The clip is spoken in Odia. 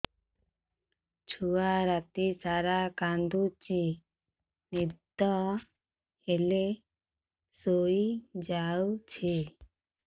ଛୁଆ ରାତି ସାରା କାନ୍ଦୁଚି ଦିନ ହେଲେ ଶୁଇଯାଉଛି